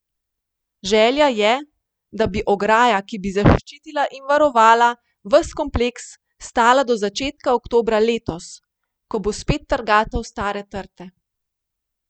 Želja je, da bi ograja, ki bi zaščitila in varovala ves kompleks, stala do začetka oktobra letos, ko bo spet trgatev Stare trte.